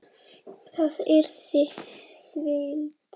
Það yrði svindl.